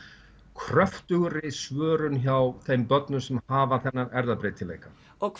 kröftugri svörun hjá þeim börnum sem hafa þennan erfðabreytileika